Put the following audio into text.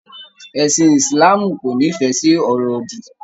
Ẹ̀sìn Ìsìláàmù kò nifẹ sí ọ̀rọ̀ òdì